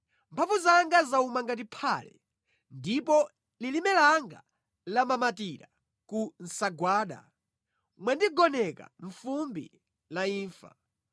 Mphamvu zanga zauma ngati phale, ndipo lilime langa lamamatira ku nsagwada; mwandigoneka mʼfumbi la imfa.